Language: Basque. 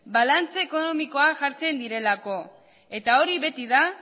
balantza ekonomikoa jartzen direlako eta hori beti da